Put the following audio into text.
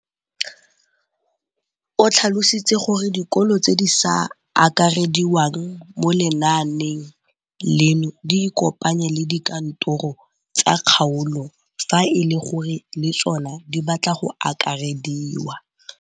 O tlhalositse gore dikolo tse di sa akarediwang mo lenaaneng leno di ikopanye le dikantoro tsa kgaolo fa e le gore le tsona di batla go akarediwa.